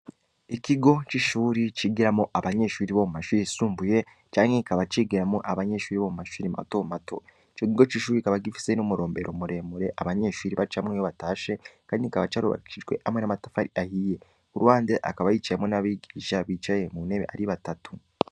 Ikigo c’ishuri cigiramwo abanyeshuri bo mu mashuri yisumbuye, canke kikaba cigiramwo abanyeshuri bo mu mashuri mato mato; ico kigo c’ishuri kikaba gifise n’umurombero muremure abanyeshuri bacamwo iyo batashe, kandi kikaba carubakishijwe hamwe n’amatafari ahiye; ku ruhande hakaba hicayemwo n’abigisha bicaye ku ntebe ari batatu.